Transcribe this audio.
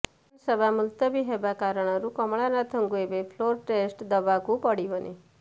ବିଧାନସଭା ମୁଲତବୀ ହେବା କାରଣରୁ କମଳନାଥଙ୍କୁ ଏବେ ଫ୍ଲୋର୍ ଟେଷ୍ଟ ଦେବାକୁ ପଡ଼ିବନି